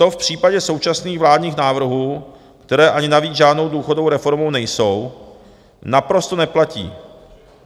To v případě současných vládních návrhů, které ani navíc žádnou důchodovou reformou nejsou, naprosto neplatí.